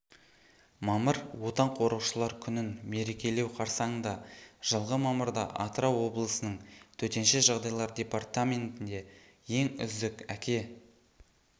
мамыр отан қорғаушылар күнін мерекелеу қарсаңында жылғы мамырда атырау облысының төтенше жағдайлар департаментінде ең үздік әке